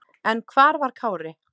En hver var Kári?